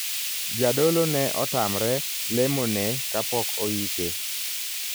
Jadolo ne otamre lemo ne kapok oike.